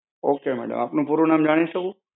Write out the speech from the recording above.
okay madam. આપનું પૂરું નામ જાણી શકું?